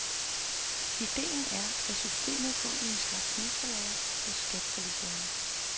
Idéen er, at systemet går i en slags mesterlære hos skatterevisorerne.